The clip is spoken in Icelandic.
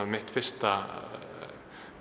mitt fyrsta